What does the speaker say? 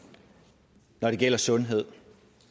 når det gælder sundhed